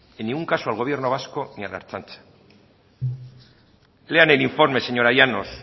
en ningún caso al gobierno vasco ni a la ertzaintza lean el informe señora llanos